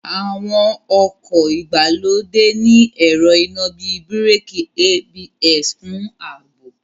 Àwọn ọkọ̀ ìgbàlódé ní ẹ̀rọ iná bíi Bíràkì ABS fún ààbò